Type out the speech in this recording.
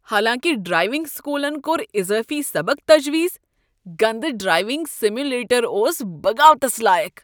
حالانکہ ڈرائیونگ سکولن کوٚر اضٲفی سبق تجویز، گندٕ ڈرائیونگ سایمولیٹر اوس بغاوتس لایق ۔